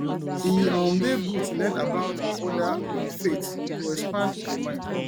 e um dey good to learn about oda um faiths e go expand your mind